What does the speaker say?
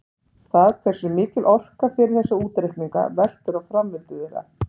Það hversu mikil orka fer í þessa útreikninga veltur á framvindu þeirra.